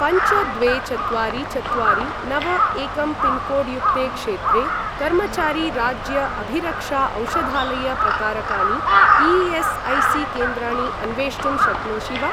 पञ्च द्वे चत्वारि चत्वारि नव एकं पिन्कोड् युक्ते क्षेत्रे कर्मचारी राज्य अभिरक्षा औषधालय प्रकारकाणि ई.एस्.ऐ.सी.केन्द्राणि अन्वेष्टुं शक्नोषि वा?